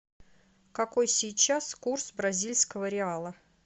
какой сейчас курс бразильского реала